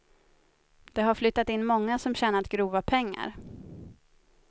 Det har flyttat in många som tjänat grova pengar.